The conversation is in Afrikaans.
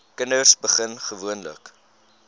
kinders begin gewoonlik